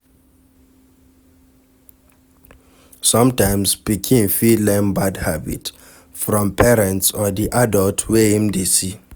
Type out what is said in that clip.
Sometimes pikin fit learn bad habit from parents or di adult wey im dey see